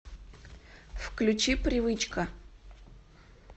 включи привычка